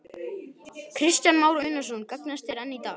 Kristján Már Unnarsson: Gagnast þær enn í dag?